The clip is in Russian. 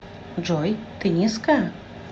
джой ты низкая